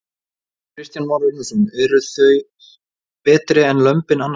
Kristján Már Unnarsson: Eru, eru þau betri en lömbin annarsstaðar?